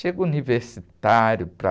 Chega universitário para...